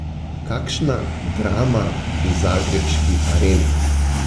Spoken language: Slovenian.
Kakšna drama v zagrebški Areni!